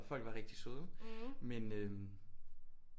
Folk var rigtig søde men øh